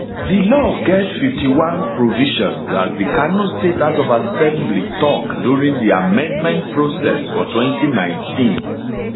di law get 51 provisions as di kano state house of assembly tok during di amendment process for 2019